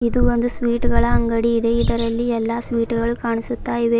ಇದು ಒಂದು ಸ್ವೀಟ್ ಗಳ ಅಂಗಡಿ ಇದೆ ಇದರಲ್ಲಿ ಎಲ್ಲಾ ಸ್ವೀಟುಗಳು ಕಾಣಿಸುತ್ತಾ ಇವೆ.